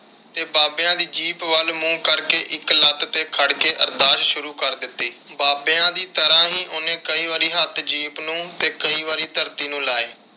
ਤੇ ਬਾਬਿਆਂ ਦੀ ਜੀਪ ਵੱਲ ਮੂੰਹ ਕਰਕੇ ਇਕ ਲੱਤ ਤੇ ਖੜ ਕੇ ਅਰਦਾਸ ਸ਼ੂਰੂ ਕਰ ਦਿੱਤੀ। ਬਾਬਿਆਂ ਦੀ ਤਰ੍ਹਾਂ ਹੀ ਉਹਨੇ ਕਈ ਵਾਰੀ ਹੱਥ ਜੀਪ ਨੂੰ ਤੇ ਕਈ ਵਾਰੀ ਧਰਤੀ ਨੂੰ ਲਾਏ।